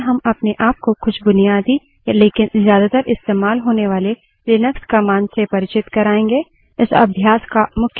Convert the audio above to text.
इस tutorial में हम अपने आप को कुछ बुनियादी लेकिन ज्यादातर इस्तेमाल होने वाले लिनक्स commands से परिचित कराएँगे